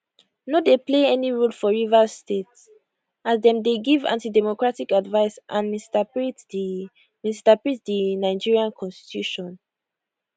no dey play any role for rivers state as dem dey give antidemocratic advice and misinterpret di misinterpret di nigeria constitution